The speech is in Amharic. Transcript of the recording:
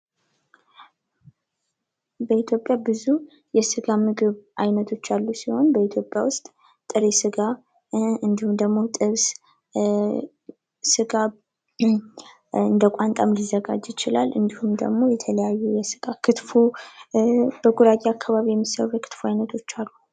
በኢትዮጵያ ውስጥ ብዙ የስነ ምግብ አይነቶች ያሉ ሲሆን ፤ በኢትዮጵያ ውስጥ ጥሬ ስጋ እንዲሁም ጥብስ፥ ስጋ እንደ ቋንጣም ሊዘጋጅ ይችላል ፤ እንዲሁም ደግሞ ክትፎ በጉራጌ አካባቢ የሚዘጋጁ ምግቦች አሉ።